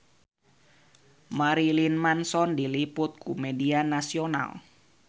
Marilyn Manson diliput ku media nasional